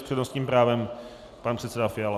S přednostním právem pan předseda Fiala.